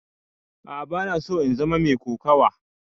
A'a bana so in zama mai kokawa.